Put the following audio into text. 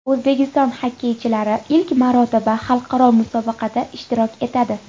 O‘zbekiston xokkeychilari ilk marotaba xalqaro musobaqada ishtirok etadi.